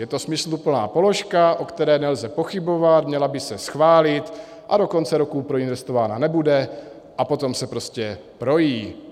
Je to smysluplná položka, o které nelze pochybovat, měla by se schválit, a do konce roku proinvestována nebude a potom se prostě projí.